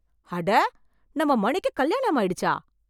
அட! நம்ம மணிக்கு கல்யாணம் ஆயிடுச்சா!